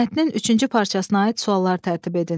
Mətnin üçüncü parçasına aid suallar tərtib edin.